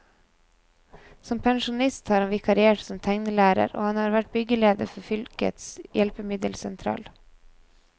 Som pensjonist har han vikariert som tegnelærer, og han har vært byggeleder for fylkets hjelpemiddelsentral.